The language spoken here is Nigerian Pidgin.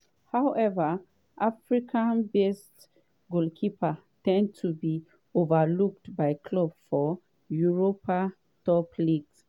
however african-based goalkeeper ten d to get overlooked by clubs for europe top leagues.